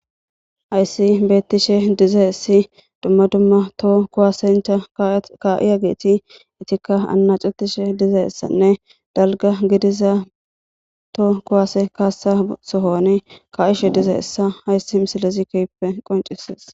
ayssi beettishe diza issi dumma dumma to kuwasencha ka7iya geeti itikka anna cutishe diza issanne dalga gidiza to kuwaase kaasasohoni ka7ishe diza issa hayssi misilezi keppe qoncisees